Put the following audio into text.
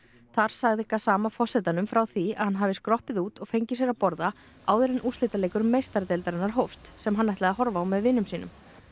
þar sagði Gassama forsetanum frá því að hann hafi skroppið út og fengið sér að borða áður en úrslitaleikur meistaradeildarinnar hófst sem hann ætlaði að horfa á með vinum sínum